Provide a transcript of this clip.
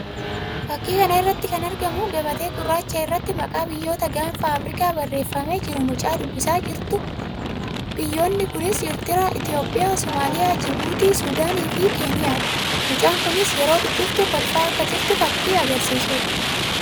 Fakkii kana irratti kan argamuu gabatee gurraacha irratti maqaa biyyoota gaanfa Afrikaa barreeffamee jiru mucaa dubbisaa jirtuu dha. Biyyoonni kunis Ertiriyaa, Itoophiyaa, Somaaliyaa Jibuutii, Sudaanii fi Keeniyaa dha. Mucaan kunis yeroo dubbiftu kolfaa akka jirtu fakkii agarsiisuu dha.